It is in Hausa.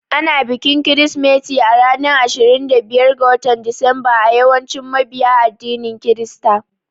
Ana bikin Kirsimeti a ranar Ashirin da biyar ga Disamba a yawancin mabiya addinin Kirista.